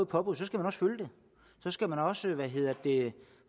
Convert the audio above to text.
påbud skal man også følge det så skal man også